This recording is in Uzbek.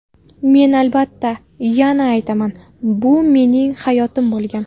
Men, albatta, yana aytaman, bu mening xatoyim bo‘lgan.